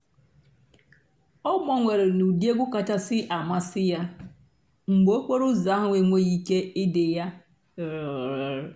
ọ́ gbànwèré n'ụ́dị́ ègwú kàchàsị́ àmásị́ yá mg̀bé òkpòró ụ́zọ́ àhú́ ènwéghị́ íké ìdì yá